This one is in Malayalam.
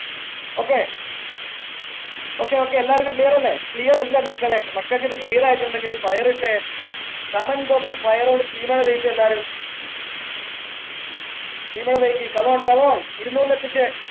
okay okay okay എല്ലാവർക്കും clear അല്ലേ clear അല്ലേ മക്കളെ മക്കക്ക് ഇത് clear യിട്ടുണ്ടെങ്കിൽ fire ഇട്ടെ comment box ൽ fire ഒണ്ട് തീ മഴ പെയിച്ചേ എല്ലാരും തീ മഴ പെയ്യിക്ക് come on come on ഇരുന്നൂറിൽ എത്തിച്ചേ